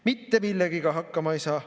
Mitte millegagi hakkama ei saa.